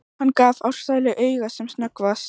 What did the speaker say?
Hann gaf Ársæli auga sem snöggvast.